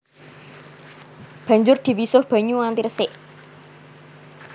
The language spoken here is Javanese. Banjur diwisuh banyu nganti resik